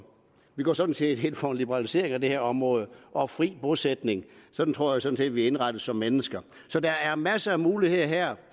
vi går sådan set ind for en liberalisering af det her område og fri bosætning sådan tror jeg sådan set vi er indrettet som mennesker så der er masser af muligheder her